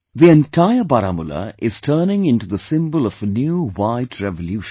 The entire Baramulla is turning into the symbol of a new white revolution